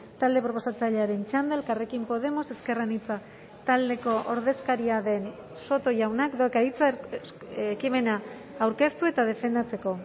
talde proposatzailearen txanda elkarrekin podemos ezker anitza taldeko ordezkaria den soto jaunak dauka hitza ekimena aurkeztu eta defendatzeko